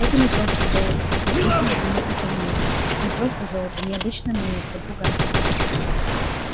это не просто золото осмотрительно заметил пониетс не просто золото не обычная монетка другая